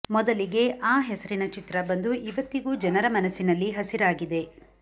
ಮೊದಲಿಗೆ ಆ ಹೆಸರಿನ ಚಿತ್ರ ಬಂದು ಇವತ್ತಿಗೂ ಜನರ ಮನಸ್ಸಿನಲ್ಲಿ ಹಸಿರಾಗಿದೆ